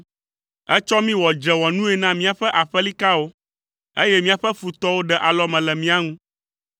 Ètsɔ mí wɔ dzrewɔnui na míaƒe aƒelikawo, eye míaƒe futɔwo ɖe alɔme le mía ŋu.